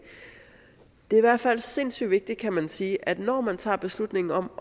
er i hvert fald sindssyg vigtigt kan man sige at man når man tager beslutningen om